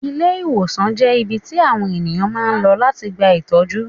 Ilé-ìwòsàn jẹ́ ibi tí àwọn ènìyàn máa ń lọ láti gba ìtọ́jú.